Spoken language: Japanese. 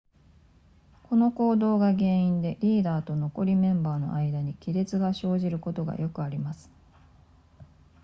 この行動が原因でリーダーと残りメンバーの間に亀裂が生じることがよくあります